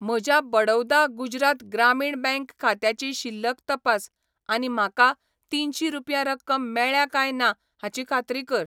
म्हज्या बडौदा गुजरात ग्रामीण बँक खात्याची शिल्लक तपास आनी म्हाका तीनशीं रुपया रक्कम मेळ्ळ्या काय ना हाची खात्री कर.